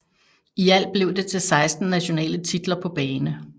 I alt blev det til 16 nationale titler på bane